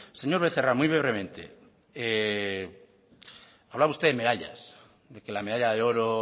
señor becerra muy brevemente hablaba usted de medallas de que la medalla de oro